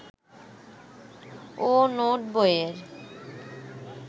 ও note বইয়ে